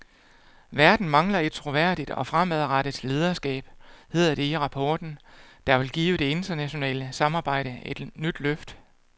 Verden mangler et troværdigt og fremadrettet lederskab, hedder det i rapporten, der vil give det internationale samarbejde et nyt løft.